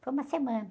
Foi uma semana.